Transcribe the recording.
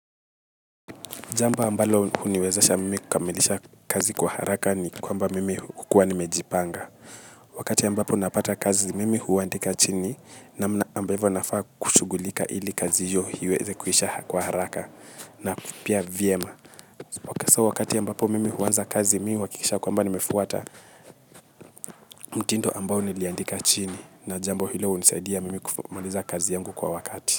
Jambo ambalo uniwezasha mimi kukamilisha kazi kwa haraka ni kwamba mimi hukua nimejipanga. Wakati ambapo napata kazi mimi huandika chini namna ambavyo nafaa kushugulika ili kazi hiyo iweze kuisha kwa haraka na pia vyema. Wakasa wakati yambapo mimi huanza kazi mimi wakikisha kwamba nimefuata mtinto ambao niliandika chini na jambo hile unisaidia mimi kufamiliza kazi yangu kwa wakati.